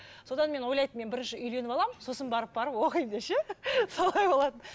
содан мен ойлайтынмын мен бірінші үйленіп аламын сосын барып барып оқитынмын деп ше солай болатын